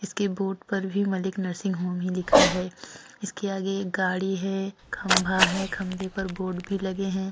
इसके बोर्ड भी Malik nursing home ही लिखा है। इसके आगे गाड़ी है खंबा है। खंभे पर बोर्ड पर लगे हैं।